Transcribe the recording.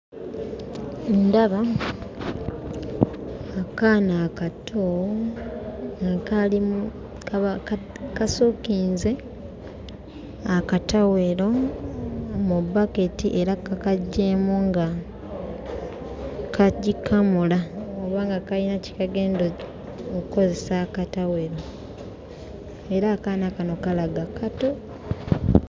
Ndaba akaana akato nga kali kasookinze akatawero mu bbaketi era kakaggyeemu nga kagikamula oba nga kayina kye kagenda okkozesa akatawero era akaana kano kalaga kato.